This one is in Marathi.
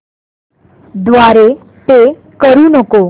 द्वारे पे करू नको